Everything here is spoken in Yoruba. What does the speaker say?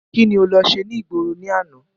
Kíni o lọ ṣe ní ìgboro ní àná?